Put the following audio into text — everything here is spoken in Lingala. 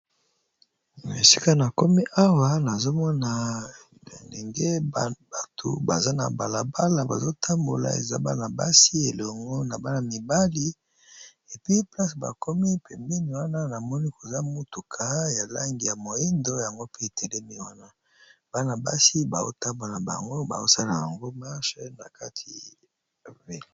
Esika nakomi awa nazomona batu baza na balabala bazo tambola basi na mibali pembeni namoni mutuka ya langi ya mwindo bana basi bazo sala marche.